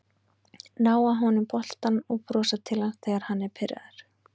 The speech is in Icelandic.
Ná af honum boltann og brosa til hans þegar hann er pirraður